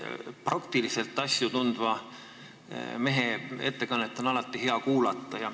Praktiliselt asju tundva mehe ettekannet on alati hea kuulata.